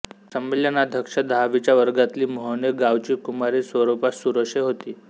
संमेलनाध्यक्षा दहावीच्या वर्गातली मोहने गावची कु स्वरूपा सुरोषे होती